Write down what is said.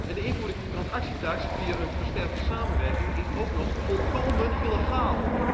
De invoering van die transactietaks via nauwere samenwerking is ook nog volkomen illegaal.